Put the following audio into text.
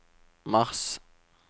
mars